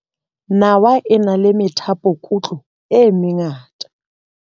Nawa e na le methapokutlo e mengata.